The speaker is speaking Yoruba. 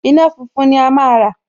Iná funfun ni a máa rà